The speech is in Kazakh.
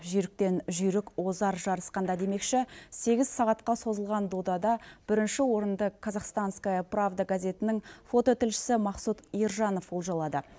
жүйріктен жүйрік озар жарысқанда демекші сегіз сағатқа созылған додада бірінші орынды казахстанская правда газетінің фототілшісі мақсұт иржанов олжалады